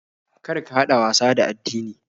Kar ka haɗa wasa da addini.